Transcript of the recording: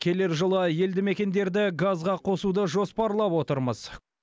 келер жылы елді мекендерді газға қосуды жоспарлап отырмыз